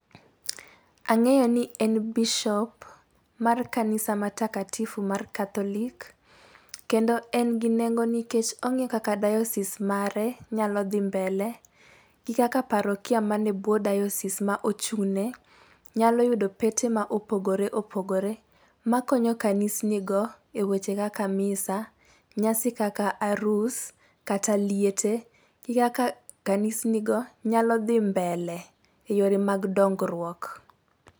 Ang'eyo ni en bishop, mar kanisa ma takatifu mar catholic. Kendo en gi nengo nikech ong'e kaka diocese mare nyalo dhi mbele, gi kaka parokia man e bwo diocese ma ochung'ne nyalo yudo pete ma opogoreopogore ma konyo kanisnigo e weche kaka misa , nyasi kaka arus, kata liete, gi kaka kanisnigo nyalo dhi mbele e yore mag dongruok.